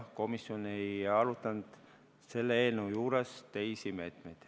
Komisjon ei arutanud selle eelnõu juures teisi meetmeid.